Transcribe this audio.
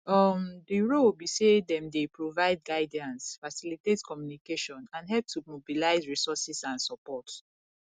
um di role be say dem dey provide guidance facilitate communication and help to mobilize resources and support